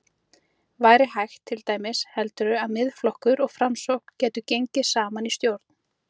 Væri hægt til dæmis, heldurðu að Miðflokkur og Framsókn gætu gengið saman í stjórn?